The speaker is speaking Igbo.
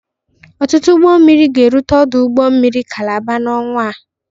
Ọtụtụ ụgbọ mmiri ga-erute ọdụ ụgbọ mmiri Kalaba n'ọnwa.